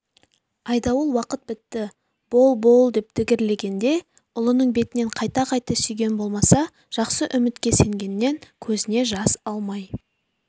айдауыл уақыт бітті бол-бол деп дігірлегенде де ұлының бетінен қайта-қайта сүйген болмаса жақсы үмітке сенгеннен көзіне жас алмай